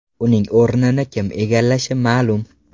Uning o‘rnini kim egallashi ma’lum.